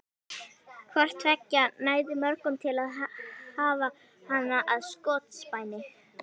Hvort tveggja nægði mörgum til að hafa hana að skotspæni.